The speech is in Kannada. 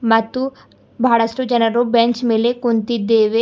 ಮತ್ತು ಬಹಳಷ್ಟು ಜನರು ಬೆಂಚ್ ಮೇಲೆ ಕುಂತಿದ್ದೇವೆ.